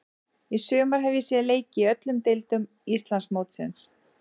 Í sumar hef ég séð leiki í öllum deildum Íslandsmótsins.